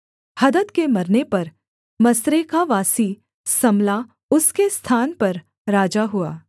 हदद के मरने पर मस्रेकावासी सम्ला उसके स्थान पर राजा हुआ